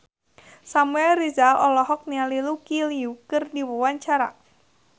Samuel Rizal olohok ningali Lucy Liu keur diwawancara